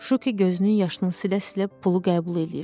Şuki gözünün yaşını silə-silə pulu qəbul eləyir.